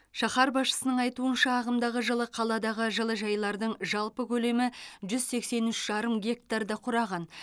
шаһар басшысының айтуынша ағымдағы жылы қаладағы жылыжайлардың жалпы көлемі жүз сексен үш жарым гектарды құраған